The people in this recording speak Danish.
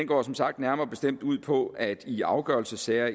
går som sagt nærmere bestemt ud på at i afgørelsessager